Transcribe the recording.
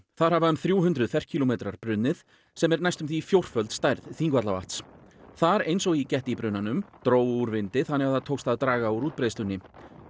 þar hafa um þrjú hundruð ferkílómetrar brunnið sem er næstum því fjórföld stærð Þingvallavatns þar eins og í brunanum dró úr vindi þannig að það tókst að draga úr útbreiðslunni